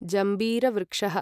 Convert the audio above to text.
जम्बीरवृक्षः